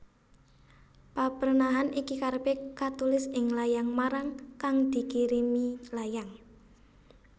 Paprenahan iki karepe katulis ing layang marang kang dikirimi layang